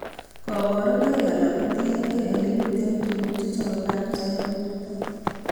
Kabarunoik alak kotienkei ele miten tuguk chechobe kansa en borto